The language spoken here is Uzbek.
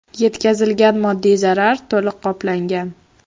Yetkazilgan moddiy zarar to‘liq qoplangan.